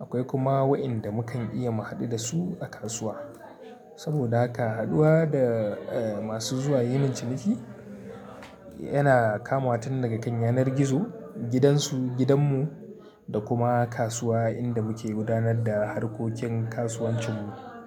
akwai kuma waɗanda mukan iya mu haɗu da su a kasuwa. Saboda haka haɗuwa da eh masu zuwa yin min ciniki yana kamawa tun daga kan yanar gizo, gidansu, gidanmu da kuma kasuwa inda muke gudanar da harkokin kasuwancinmu.